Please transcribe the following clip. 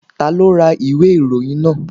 Ta ló ra ìwé ìròyìn náà?